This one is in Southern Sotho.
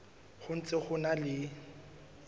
ho ntse ho na le